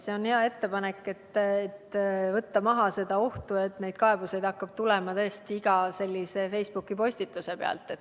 See on hea ettepanek, et võtta maha ohtu, et neid kaebusi hakkaks tulema iga sellise Facebooki postituse kohta.